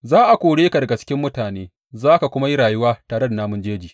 Za a kore ka daga cikin mutane za ka kuma yi rayuwa tare da namun jeji.